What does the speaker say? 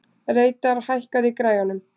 Reidar, hækkaðu í græjunum.